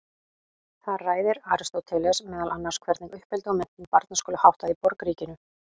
Þar ræðir Aristóteles meðal annars hvernig uppeldi og menntun barna skuli háttað í borgríkinu.